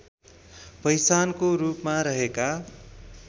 पहिचानको रूपमा रहेका